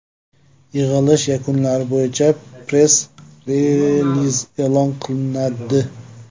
Yig‘ilish yakunlari bo‘yicha press-reliz e’lon qilinadi.